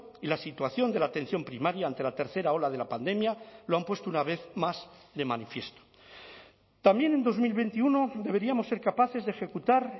y la situación de la atención primaria ante la tercera ola de la pandemia lo han puesto una vez más de manifiesto también en dos mil veintiuno deberíamos ser capaces de ejecutar